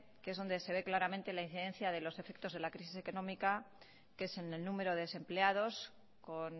que es donde se ve claramente la incidencia de los efectos de la crisis económica que es en el número de desempleados con